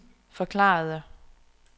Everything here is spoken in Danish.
forklarede